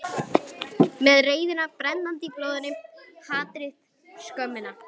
Með reiðina brennandi í blóðinu, hatrið, skömmina.